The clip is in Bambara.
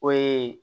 O ye